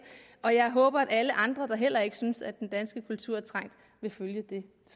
og jeg håber at alle andre der heller ikke synes at den danske kultur er trængt vil følge det